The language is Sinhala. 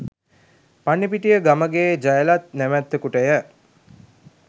පන්නිපිටිය ගමගේ ජයලත් නමැත්තකුට ය.